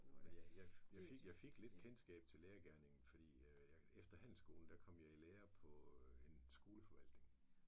Jeg jeg jeg fik jeg fik lidt kendskab til lærergerningen fordi efter handelsskolen der kom jeg i lære på en skoleforvaltning